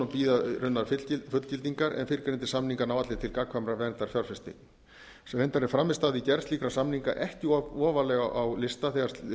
bíða raunar fullgildingar en fyrrgreindir samningar ná allir til gagnkvæmrar verndar fjárfestinga reyndar er frammistaða við gerð slíkra samninga ekki of ofarlega á lista þegar